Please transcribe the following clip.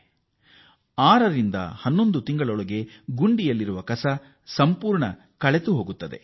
ಈ ಗುಂಡಿಯಲ್ಲಿ ಶೇಖರಣೆಯಾದ ತ್ಯಾಜ್ಯ ಆರರಿಂದ 12 ತಿಂಗಳುಗಳ ಅವಧಿಯಲ್ಲಿ ಕೊಳೆತುಹೋಗುತ್ತದೆ